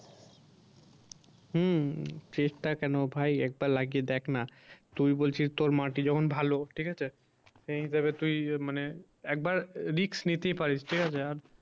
হম চেষ্টা কেন ভাই একবার লাগিয়ে দেখ না। তুই বলছিস তোর মাটি যখন ভালো ঠিক আছে সেই হিসাবে তুই মানে একবার risk নিতে পারিস ঠিক আছে আর